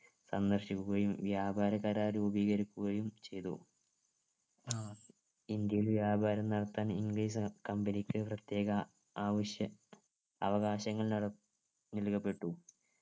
സന്ദർശിക്കുകയും വ്യാപാര കരാർ രൂപീകരിക്കുകയും ചെയ്തു ഇന്ത്യയിൽ വ്യാപാരം നടത്താൻ english company ക്ക് പ്രത്യേക ആവശ്യ അവകാശങ്ങൾ നൽ നൽകപ്പെട്ടു